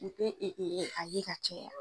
U te e e a ye ka caya